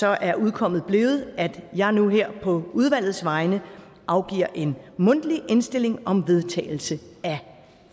er udkommet blevet at jeg nu her på udvalgets vegne afgiver en mundtlig indstilling om vedtagelse af